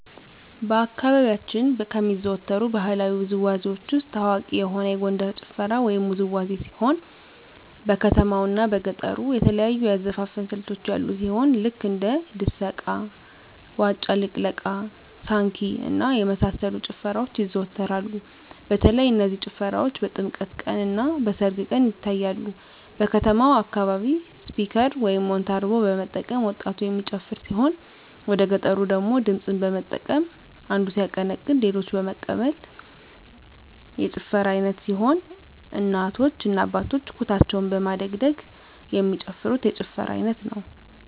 በአካባቢያችን ከሚዘወተሩ ባህለዊ ውዝዋዜዎች ውስጥ ታዋቂ የሆነ የጎንደር ጭፈራ ወይም ውዝዋዜ ሲሆን በከተማው እና በገጠሩ የተለያዩ የአዘፋፈን ስልቶች ያሉ ሲሆን ልክ እንደ ድሰቃ; ዋጫ ልቅለቃ; ሳንኪ እና የመሳሰሉት ጭፈራዎች ይዘዎተራሉ በተለይ እነዚህ ጭፈራዎች በጥምቀት ቀን; እና በሰርግ ቀን ይታያሉ። በከተማው አካባቢ ስፒከር (ሞንታርቦ) በመጠቀም ወጣቱ የሚጨፍር ሲሆን ወደገጠሩ ደግሞ ድምፅን በመጠቀም አንዱ ሲያቀነቅን ሌሎች በመቀበል የጭፈራ አይነት ሲሆን እናቶ እና አባቶች ኩታቸውን በማደግደግ የሚጨፍሩት የጭፈራ አይነት ነው።